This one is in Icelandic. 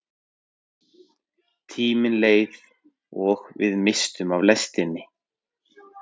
Tíminn leið og við misstum af lestinni!